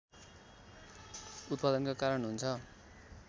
उत्पादनका कारण हुन्छ